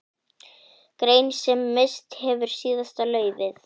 Grein sem misst hefur síðasta laufið.